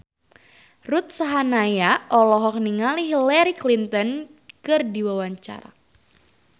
Ruth Sahanaya olohok ningali Hillary Clinton keur diwawancara